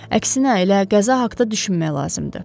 Əksinə, elə qəza haqda düşünmək lazımdır.